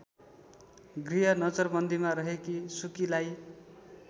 गृहनजरबन्दीमा रहेकी सुकीलाई